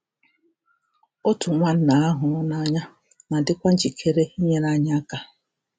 Otu nwanna a hụrụ n’anya na-adịkwa njikere inyere anyị aka.